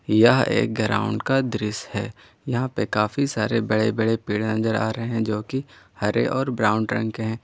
यह एक ग्राउंड का दृश्य है यहां पे काफी सारे बड़े बड़े पेड़ नजर आ रहे हैं जो कि हर और ब्राउन रंग के हैं।